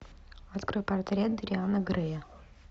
открой портрет дориана грея